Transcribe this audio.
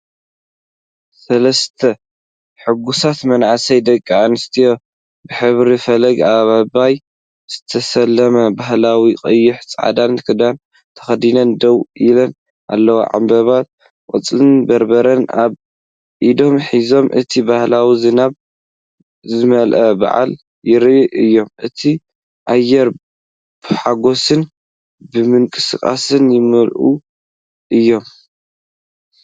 ሰለስተ ሕጉሳት መንእሰያት ደቂ ኣንስትዮ፡ብሕብሪ ፈለግ ኣባይ ዝተሰለመ ባህላዊ ቀይሕን ጻዕዳን ክዳን ተኸዲነን ደው ኢለን ኣለዋ። ዕንበባ ቆጽልን በርበረን ኣብ ኢዶም ሒዞም፡ እቲ ባህላዊ ዝናብ ዝመልአ በዓል ርኡይ እዩ። እቲ ኣየር ብሓጐስን ምንቅስቓስን ይመልእ እዩ።